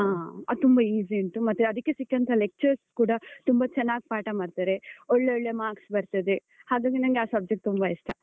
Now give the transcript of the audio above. ಆ. ಅದ್ ತುಂಬ easy ಉಂಟು, ಮತ್ತೆ ಅದಕ್ಕೆ ಸಿಕ್ಕಂತಹ lectures ಕೂಡ ತುಂಬಾ ಚೆನ್ನಾಗ್ ಪಾಠ ಮಾಡ್ತಾರೆ, ಒಳ್ಳೊಳ್ಳೆ marks ಬರ್ತದೆ. ಹಾಗಾಗಿ ನನ್ಗೆ ಆ subject ತುಂಬಾ ಇಷ್ಟ.